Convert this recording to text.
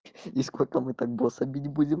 и сколько мы так босса бить будем